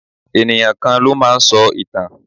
Ènìyàn kan ló máa ń sọ ìtàn.